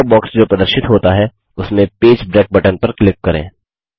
dialogue box जो प्रदर्शित होता है उसमें पेज ब्रेक बटन पर क्लिक करें